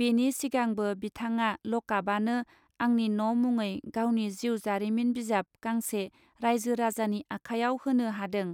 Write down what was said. बेनि सिगांबो बिथाङा लकापआनो आंनि न मुङै गावनि जिउ जारिमिन बिजाब गांसे राइजो राजानि आखाइआव होनो हादों.